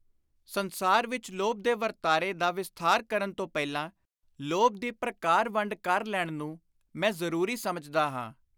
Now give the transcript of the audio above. ਸੰਸਾਰ ਵਿਚ ਲੋਭ ਦੇ ਵਰਤਾਰੇ ਦਾ ਵਿਸਥਾਰ ਕਰਨ ਤੋਂ ਪਹਿਲਾਂ ਲੋਭ ਦੀ ਪ੍ਰਕਾਰ-ਵੰਡ ਕਰ ਲੈਣ ਨੂੰ ਮੈਂ ਜ਼ਰੂਰੀ ਸਮਝਦਾ ਹਾਂ।